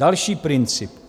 Další princip.